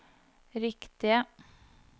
riktige